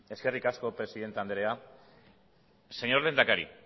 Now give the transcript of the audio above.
eskerrik asko presidente andrea señor lehendakari